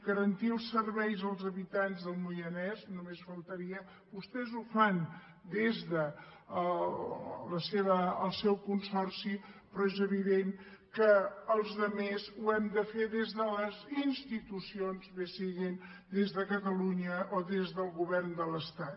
garantir els serveis als habitants del moianès només faltaria vostès ho fan des del seu consorci però és evident que els altres ho hem de fer des de les institucions bé sigui des de catalunya o des del govern de l’estat